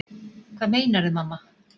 Hvað meinarðu, mamma?